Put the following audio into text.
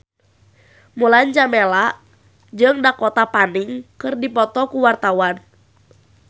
Mulan Jameela jeung Dakota Fanning keur dipoto ku wartawan